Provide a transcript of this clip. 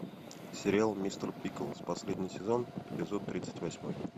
сериал мистер пиклз последний сезон эпизод тридцать восьмой